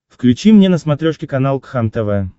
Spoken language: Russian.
включи мне на смотрешке канал кхлм тв